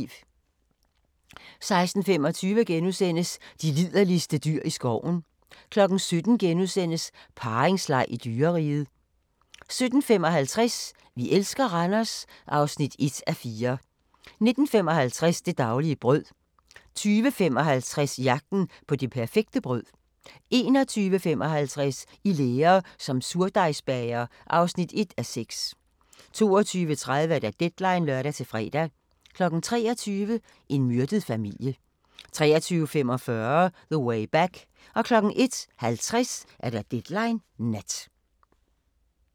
16:25: De liderligste dyr i skoven * 17:00: Parringsleg i dyreriget * 17:55: Vi elsker Randers (1:4) 19:55: Det daglige brød 20:55: Jagten på det perfekte brød 21:55: I lære som surdejsbager (1:6) 22:30: Deadline (lør-fre) 23:00: En myrdet familie 23:45: The Way Back 01:50: Deadline Nat